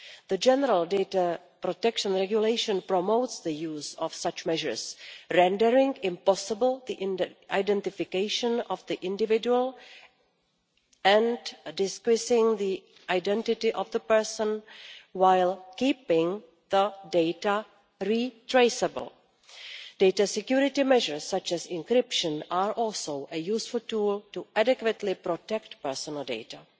The General Data Protection Regulation promotes the use of such measures, rendering impossible the identification of the individual and disguising the identity of the person while keeping the data retraceable. Data security measures such as encryption are also a useful tool to adequately protect personal data.